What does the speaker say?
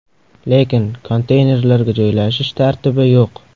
Lekin konteynerlarga joylashish tartibi yo‘q.